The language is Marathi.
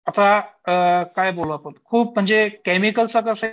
आता काय बोलू आपण खूप म्हणजे केमिकल